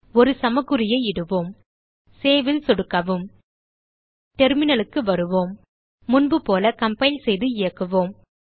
ஒரு சமக்குறியை இடுவோம் சேவ் ல் சொடுக்கவும் terminalக்கு வருவோம் முன்புபோல கம்பைல் செய்து இயக்குவோம்